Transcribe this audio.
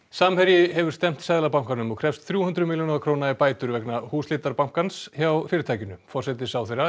samherji hefur stefnt Seðlabankanum og krefst þrjú hundruð milljóna króna í bætur vegna húsleitar bankans hjá fyrirtækinu forsætisráðherra